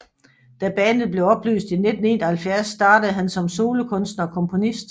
Da bandet blev opløst i 1971 startede han som solokunstner og komponist